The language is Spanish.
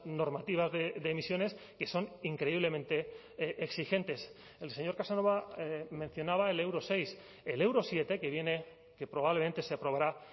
normativas de emisiones que son increíblemente exigentes el señor casanova mencionaba el euro seis el euro siete que viene que probablemente se aprobará